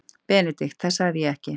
BENEDIKT: Það sagði ég ekki.